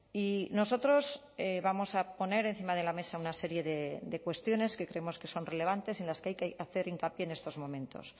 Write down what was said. y nosotros vamos a poner encima de la mesa una serie de cuestiones que creemos que son relevantes en las que hay que hacer hincapié en estos momentos